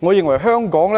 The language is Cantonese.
我認為，香港